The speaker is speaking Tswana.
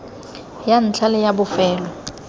ya ntlha le ya bofelo